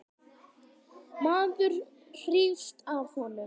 Maður hrífst af honum.